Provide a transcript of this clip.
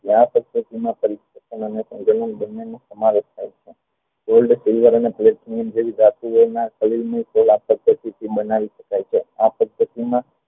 આ પદ્ધતિ આ બન્ને નો સમાવેશ થાય છે gold અને ધાતુઓ ના બનાવી શકાય છે આ પદ્ધતિમાં